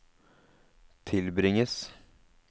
tilbringes